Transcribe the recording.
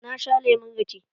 Na sha lemon rake.